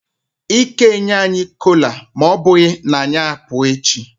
Ike enye anyi kola ma obughi na anyi apu echi.